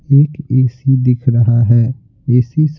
एक ए_सी दिख रहा हैए_सी-- --